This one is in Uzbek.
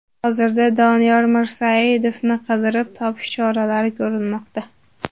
Hozirda Doniyor Mirsaidovni qidirib topish choralari ko‘rilmoqda.